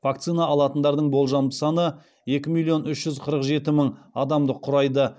вакцина алатындардың болжамды саны екі миллион үш жүз қырық жеті мың адамды құрайды